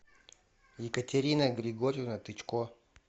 екатерина григорьевна тычко